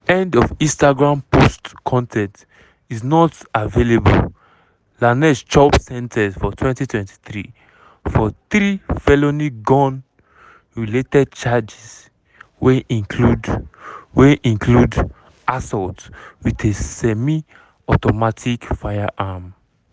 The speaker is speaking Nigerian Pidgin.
end of instagram post con ten t is not available lanez chopsen ten ce for 2023for three felony gun-related charges wey include wey include assault wit a semi-automatic firearm.